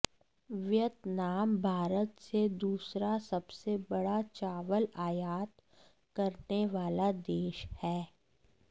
Vietnam Bharat से दूसरा सबसे बड़ा चावल आयात करने वाला देश है